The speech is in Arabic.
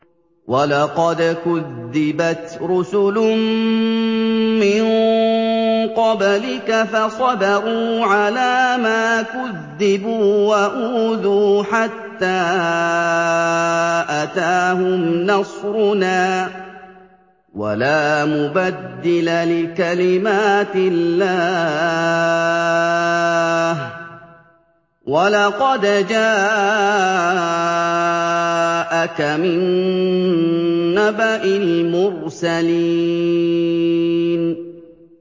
وَلَقَدْ كُذِّبَتْ رُسُلٌ مِّن قَبْلِكَ فَصَبَرُوا عَلَىٰ مَا كُذِّبُوا وَأُوذُوا حَتَّىٰ أَتَاهُمْ نَصْرُنَا ۚ وَلَا مُبَدِّلَ لِكَلِمَاتِ اللَّهِ ۚ وَلَقَدْ جَاءَكَ مِن نَّبَإِ الْمُرْسَلِينَ